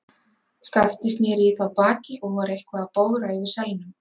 Skapti sneri í þá baki og var eitthvað að bogra yfir selnum.